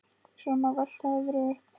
Svo má velta öðru upp.